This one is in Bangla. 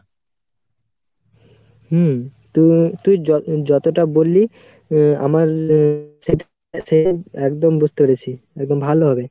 হম তুই তুই যতটা যতটা বললি আ~ আমার একদম বুজতে পেরেছি এবং ভালো ভাবে